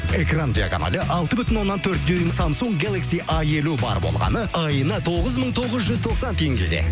экран диагоналі алты бүтін оннан төрт дюйм самсунг галакси а елу бар болғаны айына тоғыз мың тоғыз жүз тоқсан теңгеге